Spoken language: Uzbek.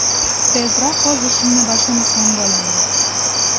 Tezroq o‘z ishimni boshlamasam bo‘lmaydi.